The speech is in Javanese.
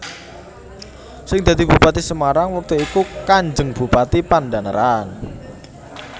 Sing dadi Bupati Semarang wektu iku Kanjeng Bupati Pandhanaran